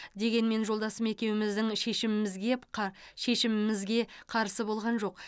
дегенмен жолдасым екеуміздің шешімімізге қа шешімімізге қарсы болған жоқ